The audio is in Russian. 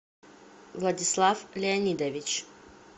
владислав леонидович